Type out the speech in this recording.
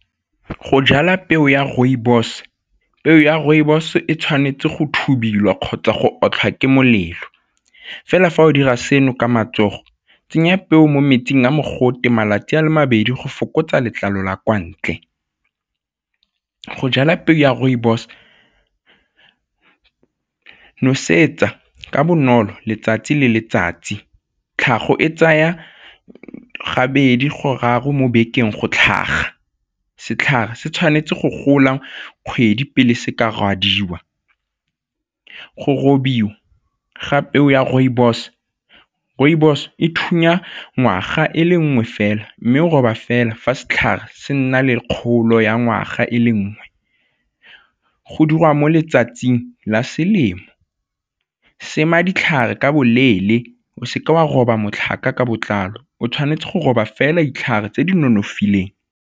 Go jala peo ya rooibos, peo ya rooibos e tshwanetse go thubiwa kgotsa go otlhiwa ke molelo fela fa o dira seno ka matsogo tsenya peo mo metsing a mogote malatsi a le mabedi go fokotsa letlalo la kwa ntle. Go jala peo ya rooibos, nosetsa ka bonolo letsatsi le letsatsi. Tlhago e tsaya gabedi gararo mo bekeng go tlhaga, setlhare se tshwanetse go gola kgwedi pele se ka rwadiwa. Go robiwa ga peo ya rooibos, rooibos e thunya ngwaga e le nngwe fela mme go roba fela fa setlhare se nna le kgolo ya ngwaga e le nngwe, go dirwa mo letsatsing la selemo, sema ditlhare ka boleele o seke wa roba matlhaka ka botlalo o tshwanetse go roba fela ditlhare tse di nonofileng.